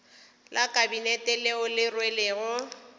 la kabinete leo le rwelego